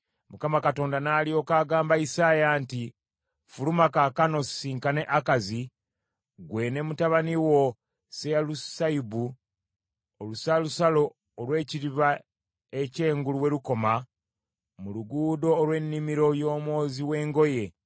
Mukama Katonda n’alyoka agamba Isaaya nti, “Fuluma kaakano osisinkane Akazi, ggwe ne mutabani wo Seyalusayubu, olusalosalo olw’ekidiba ekyengulu we lukoma, mu luguudo olw’Ennimiro y’Omwozi w’Engoye,